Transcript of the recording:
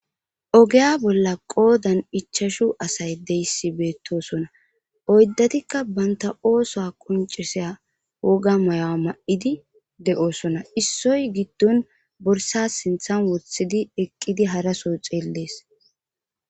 Ogeya bolla qoodan ichashu asay deyissi beettosona oyddatikka banta ooso qoncisea woga maya ma7idi de7oosona issoy giddon borsas sinthan wothidi eqqidi haraso xeellees.